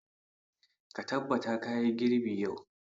Ka tabbata ka yi girbi yau!